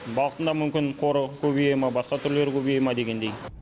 балықтан да мүмкін қоры көбейе ме басқа түрлері көбейе ме дегендей